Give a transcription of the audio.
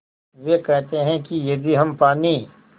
वे कहते हैं कि यदि हम पानी